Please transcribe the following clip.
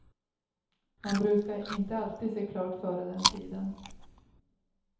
Man brukade inte alltid se klart före den tiden.